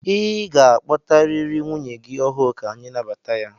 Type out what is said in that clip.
Ị ga-akpọtarịrị nwunye gị ọhụụ ka anyị nabata ya!